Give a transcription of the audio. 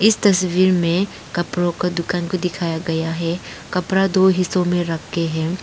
तस्वीर में कपड़ो के दुकान को दिखाया गया है कपड़ा दो हिस्सों में रखे है।